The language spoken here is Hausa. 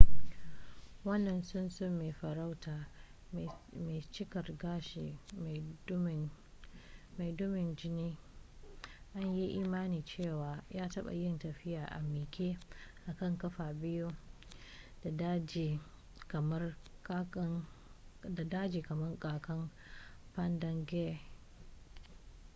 wannan tsuntsu mai farauta mai cikar gashi mai dumin jini an yi imanin cewa ya taɓa yin tafiya a miƙe akan kafa biyu da dagi kamar kakan padangare